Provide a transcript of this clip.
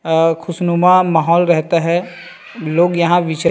और खुसनुमा माहोल रहता हैं लोग यहाँ विचार--